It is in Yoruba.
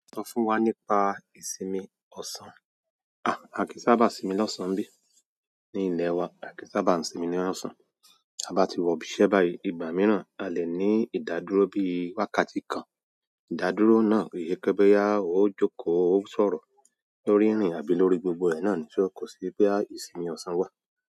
Sọ fún wa nípa ìsinmi ọ̀sán. À, à kìí sábà sìnmi lọ́sàn-án bí. Ní ilẹ̀ wa, à kíí n sábà sinmi lọ́sán. A bá ti wọ ibi iṣẹ́ báyìí ìgbà mìíràn a lè ní ìdádúró bí wákàtí kan. Ìdádúró náà kìí se pé bóyá ó jókòó, ó sọ̀rọ̀ lórí ìrìn àbí lórí gbogbo ẹ̀ náà ni. So kò sí pé ìsinmi ọ̀sán wà.